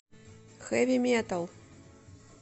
хэви метал